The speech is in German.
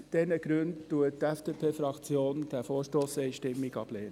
Aus diesen Gründen lehnt die FDP-Fraktion diesen Vorstoss einstimmig ab.